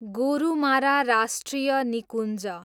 गोरुमारा राष्ट्रिय निकुञ्ज